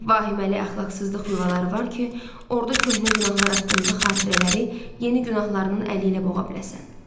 Vahiməli əxlaqsızlıq yuvaları var ki, orda köhnə günahlar haqqında xatirələri yeni günahlarının əlində boğa biləsən.